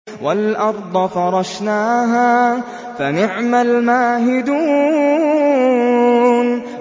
وَالْأَرْضَ فَرَشْنَاهَا فَنِعْمَ الْمَاهِدُونَ